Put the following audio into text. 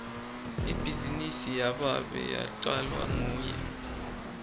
ibhizinisi yababe yacalwa nguye